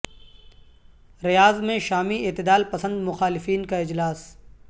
ریاض میں شامی اعتدال پسند مخالفین کا اجلاس